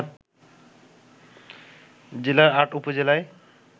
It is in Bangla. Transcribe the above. জেলার ৮ উপজেলায়